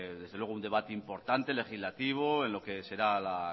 desde luego un debate importante legislativo en lo que será la